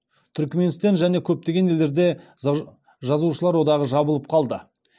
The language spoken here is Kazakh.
түрікменстен және көптеген елдерде жазушылар одағы жабылып қалды